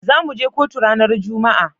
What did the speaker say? Zamu je kotu ranar juma'a.